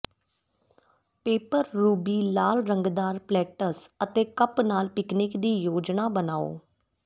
paper ruby ਲਾਲ ਰੰਗਦਾਰ plates ਅਤੇ ਕੱਪ ਨਾਲ ਪਿਕਨਿਕ ਦੀ ਯੋਜਨਾ ਬਣਾਓ